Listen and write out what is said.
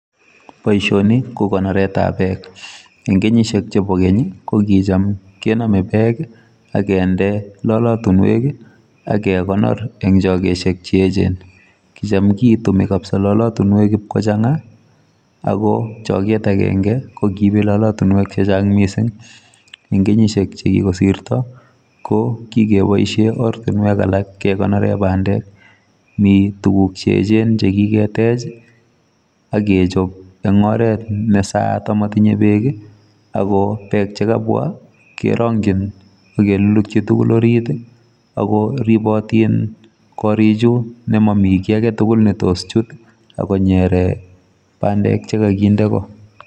Boisioni ko konoret ab bek. En kenyisiek chebo keny kokitam kenome bek akinde lolotunwek akekonor en chokosiek cheyechen, kitam kitume kabisa lolotunwek iib kochang'a ako choget agenge kokiibe lolotunwek chechang' missing. En kenyisiek chekikosirto kokikeboisien ortunwek alak kekonoren bandek. Mi tuguk cheyechen chekiketech akechop en oret nessayat amo tinye beek ,ako beek chekabwa kerongyin ak kelulukyi tugul orit ako ribotin korik chu nemomi kiagetugul netos chut konyere bandek chekokinde ko.